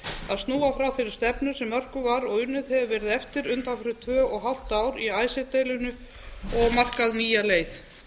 að snúa frá þeirri stefnu sem mörkuð var og unnið hefur verið eftir undanfarin tvö og hálft ár í icesave deilunni og markað nýja leið